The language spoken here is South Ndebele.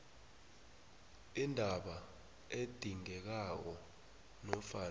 indaba edingekako nofana